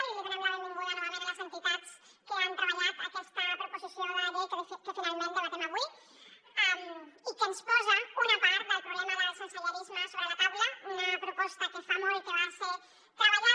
i els hi donem la benvinguda novament a les entitats que han treballat aquesta proposició de llei que finalment debatem avui i que ens posa una part del problema del sensellarisme sobre la taula una proposta que fa molt que va ser treballada